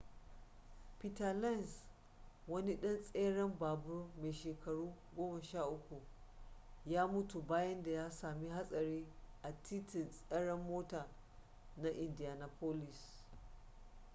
peter lenz wani ɗan tseren babur mai shekaru 13 ya mutu bayan da ya samu hatsari a titin tseren mota na indianapolis